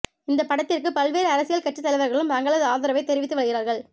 இந்த படத்திற்கு பல்வேறு அரசியல் கட்சி தலைவர்களும் தங்களது ஆதரவை தெரிவித்து வருகிறார்கள்